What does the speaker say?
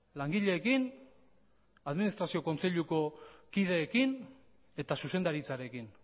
langileekin administrazio kontseiluko kideekin eta zuzendaritzarekin